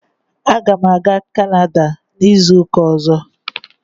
Aga m aga Kanada n'izu ụka ọzọ.